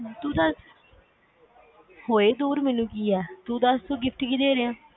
ਤੂੰ ਦੱਸ ਹੋਏ ਦੂਰ ਮੈਨੂੰ ਕੀ ਆ ਤੂੰ ਦੱਸ ਮੈਨੂੰ gift ਕੀ ਦੇ ਰਿਹਾ